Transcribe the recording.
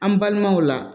An balimaw la